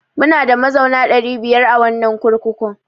Munada mazauna ɗari biyar a wannan kurkukun.